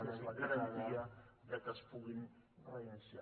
que és la garantia que es puguin reiniciar